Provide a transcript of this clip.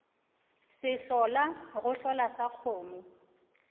sehlola go hlola sa kgomo